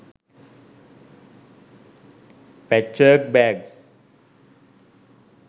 pachwork bags